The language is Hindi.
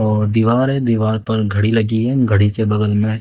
और दीवार है दीवार पर घड़ी लगी है घड़ी के बगल में--